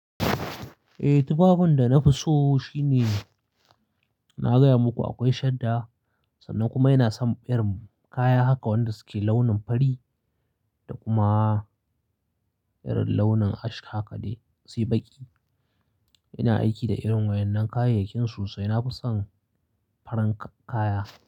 Eh tufafin da na fi so shine na gaya muku akwai shadda sannan kuma ina son irin kaya haka wanda suke launin fari da kuma irin launin ash haka dai sai baƙi. Ina aiki da irin waɗannan kayayyakin sosai. Na fi son farin kaya.